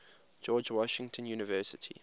george washington university